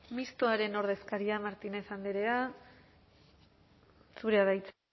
mistoaren ordezkaria martínez andrea zurea da hitza